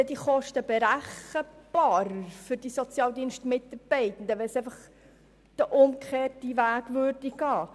Würden die Kosten dann für die Sozialdienstmitarbeitenden berechenbarer, wenn man den umgekehrten Weg ginge?